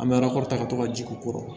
An bɛ arakɔrita ka to ka jigin o kɔrɔ